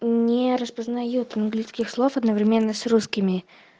мм не распознает английских слов одновременно с русскими